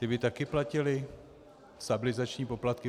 Ti by také platili stabilizační poplatky?